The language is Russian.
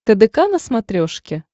тдк на смотрешке